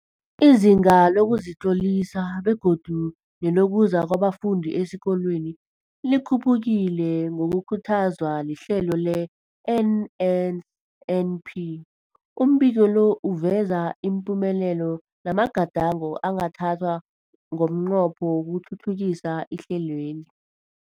Izinga lokuzitlolisa begodu nelokuza kwabafundi esikolweni likhuphukile ngokukhuthazwa lihlelo le-NNNP. Umbiko lo uveza ipumelelo namagadango angathathwa ngomnqopho wokuthuthukisa ihlelweli.